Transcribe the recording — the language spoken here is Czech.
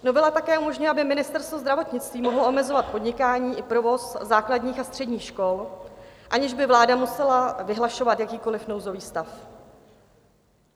Novela také umožňuje, aby Ministerstvo zdravotnictví mohlo omezovat podnikání i provoz základních a středních škol, aniž by vláda musela vyhlašovat jakýkoliv nouzový stav.